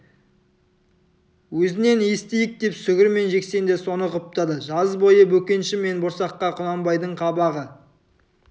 өзінен естиік деп сүгір мен жексен де соны құптады жаз бойы бөкенші мен борсаққа құнанбайдың қабағы